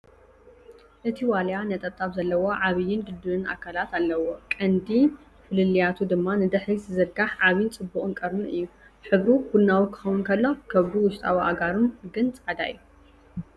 እቲ ዋልያ ነጠብጣብ ዘለዎ ዓብይን ድልዱልን ኣካላት ኣለዎ፣ ቀንዲ ፍልልያቱ ድማ ንድሕሪት ዝዝርጋሕ ዓቢን ጽቡቕን ቀርኑ እዩ። ሕብሩ ቡናዊ ክኸውን ከሎ፡ ከብዱን ውሽጣዊ ኣእጋሩን ግን ጻዕዳ እዩ።